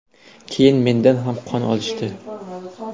Keyin mendan ham qon olishdi.